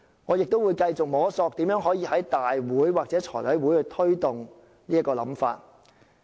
我亦會繼續摸索怎樣可以在立法會或財務委員會落實這個想法。